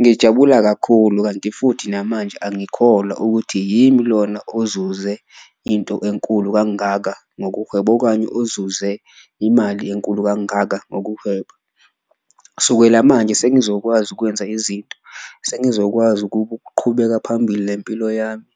Ngijabula kakhulu kanti futhi namanje angikholwa ukuthi yimi lona ozuze into enkulu kangaka ngokuhweba, okanye ozuze imali enkulu kangaka ngokuhweba. Kusukela manje sengizokwazi ukwenza izinto, sengizokwazi ukuqhubeka phambili nempilo yami